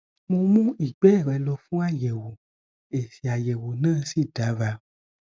mo mú ìgbé rẹ lọ fún àyẹwò èsì àyẹwò náà sì dára